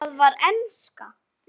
Það var enska.